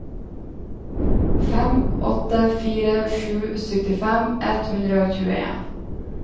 fem åtte fire sju syttifem ett hundre og tjueen